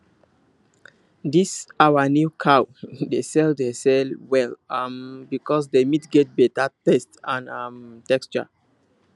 this our new cow dey sell dey sell well um because the meat get better taste and um texture